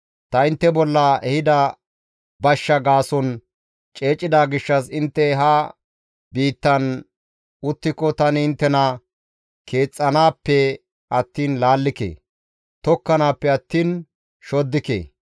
‹Ta intte bolla ehida bashsha gaason ceecida gishshas intte ha biittan uttiko tani inttena keexxanaappe attiin laallike; tokkanappe attiin shoddike.